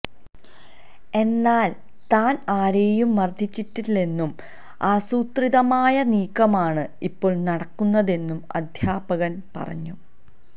എന്നാല് താന് ആരെയും മര്ദ്ദിച്ചിട്ടില്ലെന്നും ആസൂത്രിതമായ നീക്കമാണ് ഇപ്പോള് നടക്കുന്നതെന്നും അധ്യാപകന് പറഞ്ഞു